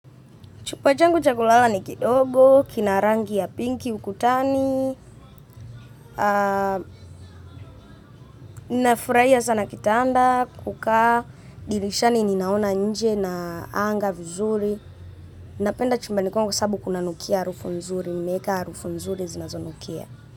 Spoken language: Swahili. Chumba changu cha kulala ni kidogo kina rangi ya pinki ukutani na furahia sana kitanda, kukaa, dirishani ninaona nje na anga vizuri. Napenda chumbani kwangu kwa sababu kuna nukia harufu nzuri, nimeweka harufu nzuri zinazo nukia.